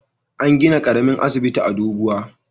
An gina ƙaramin asibiti a Doguwa.